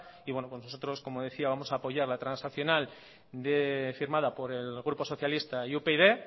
y nosotros como decía vamos a apoyar la transaccional firmada por el grupo socialista y upyd